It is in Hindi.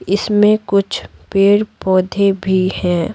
इसमें कुछ पेड़-पौधे भी हैं।